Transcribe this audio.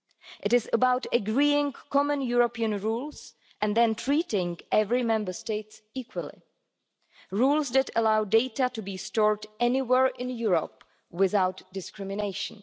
It is about agreeing common European rules and then treating every Member State equally rules that allow data to be stored anywhere in Europe without discrimination.